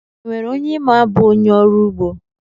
E nwere onye ị ma bụ onye ọrụugbo?